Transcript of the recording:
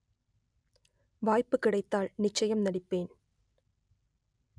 வாய்ப்பு கிடைத்தால் நிச்சயம் நடிப்பேன்